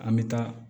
An bɛ taa